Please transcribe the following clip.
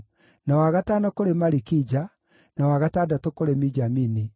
na wa gatano kũrĩ Malikija, na wa gatandatũ kũrĩ Mijamini,